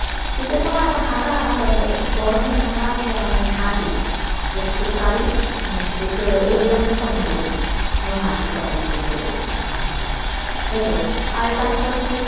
শীতের সময় এখন হাঁটা হয় না তবে গরমের সময় আসলে আমি হাঁটি যতটুকু পারি হুম এই ব্যায়ামটুকু আমি করি। আমি হাঁটি সকালে ভোরবেলা উঠে এই তো আর এর পাশাপাশি